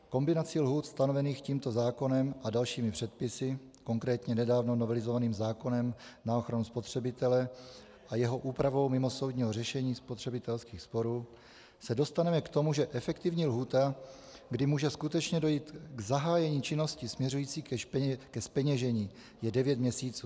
Kombinací lhůt stanovených tímto zákonem a dalšími předpisy, konkrétně nedávno novelizovaným zákonem na ochranu spotřebitele a jeho úpravou mimosoudního řešení spotřebitelských sporů, se dostaneme k tomu, že efektivní lhůta, kdy může skutečně dojít k zahájení činnosti směřující ke zpeněžení, je devět měsíců.